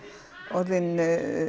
orðinn